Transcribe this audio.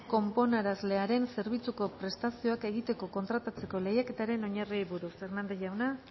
konponarazlearen zerbitzuko prestazioak egitea kontratatzeko lehiaketaren oinarriei buruz hernández jauna